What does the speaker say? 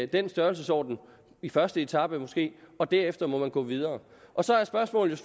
den størrelsesorden i første etape måske og derefter må man gå videre så er spørgsmålet